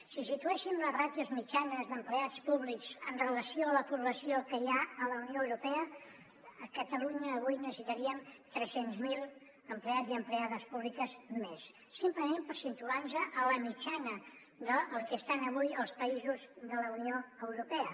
si situéssim les ràtios mitjanes d’empleats públics amb relació a la població que hi ha a la unió europea a catalunya avui necessitaríem tres cents miler empleats i empleades públiques més simplement per situar nos a la mitjana del que estan avui els països de la unió europea